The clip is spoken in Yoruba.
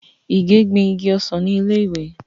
Ìgè gbin igi ọsàn ni ilé ìwé.